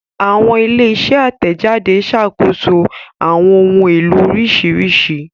Awọn ile-iṣẹ atẹjade ṣakoso awọn ohun elo oriṣiriṣi